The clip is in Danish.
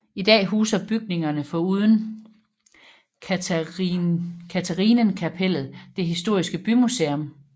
I dag huser bygningerne foruden Katharinenkapellet det historiske bymuseum